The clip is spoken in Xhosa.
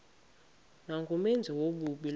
nangumenzi wobubi lowo